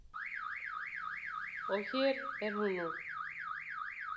Og hér er hún nú.